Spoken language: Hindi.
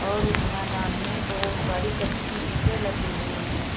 और उस मैदान में बहोत सारी कच्ची ईंटे लगी हुई हैं।